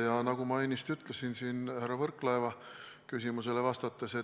Ja nagu ma ennist ütlesin härra Võrklaeva küsimusele vastates,